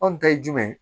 Anw ta ye jumɛn ye